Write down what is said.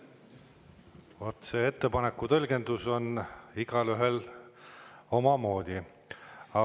Vot see ettepaneku tõlgendus on igaühel omamoodi.